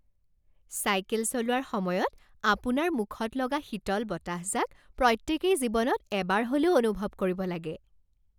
Cycle চলোৱাৰ সময়ত আপোনাৰ মুখত লগা শীতল বতাহজাক প্ৰত্যেকেই জীৱনত এবাৰ হ'লেও অনুভৱ কৰিব লাগে।